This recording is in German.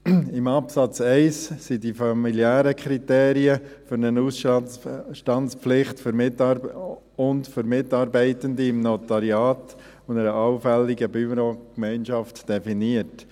Im Absatz 1 sind die familiären Kriterien für eine Ausstandspflicht, für Mitarbeitende im Notariat und bei einer allfälligen Bürogemeinschaft definiert.